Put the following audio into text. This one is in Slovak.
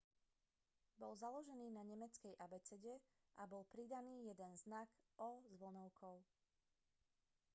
bol založený na nemeckej abecede a bol pridaný jeden znak õ/õ